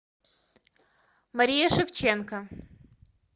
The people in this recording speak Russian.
мария шевченко